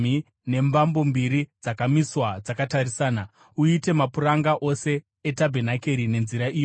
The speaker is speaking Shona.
nembambo mbiri dzakamiswa dzakatarisana. Uite mapuranga ose etabhenakeri nenzira iyoyi.